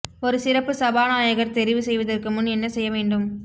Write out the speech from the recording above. ஒரு சிறப்பு சபாநாயகர் தெரிவு செய்வதற்கு முன் என்ன செய்ய வேண்டும்